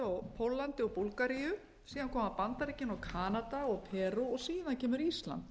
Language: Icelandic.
póllandi og búlgaríu síðan koma bandaríkin og kanada og perú síðan kemur ísland